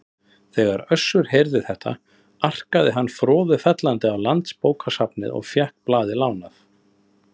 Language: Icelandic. Þegar Össur heyrði þetta arkaði hann froðufellandi á Landsbókasafnið og fékk blaðið lánað.